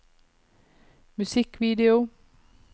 musikkvideo